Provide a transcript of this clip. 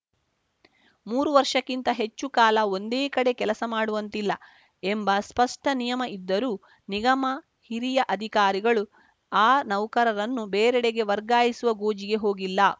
ಮೂರು ವರ್ಷಕ್ಕಿಂತ ಹೆಚ್ಚು ಕಾಲ ಒಂದೇ ಕಡೆ ಕೆಲಸ ಮಾಡುವಂತಿಲ್ಲ ಎಂಬ ಸ್ಪಷ್ಟನಿಯಮ ಇದ್ದರೂ ನಿಗಮದ ಹಿರಿಯ ಅಧಿಕಾರಿಗಳು ಆ ನೌಕರರನ್ನು ಬೇರೆಡೆಗೆ ವರ್ಗಾಯಿಸುವ ಗೋಜಿಗೆ ಹೋಗಿಲ್ಲ